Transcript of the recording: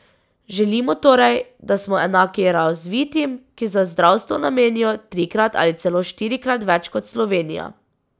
Želimo torej, da smo enaki razvitim, ki za zdravstvo namenijo trikrat ali celo štirikrat več kot Slovenija.